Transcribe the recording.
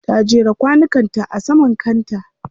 Ta jera kwanukan ta a saman kanta.